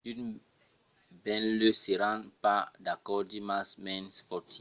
d'unes benlèu seràn pas d'acòrdi mas me'n foti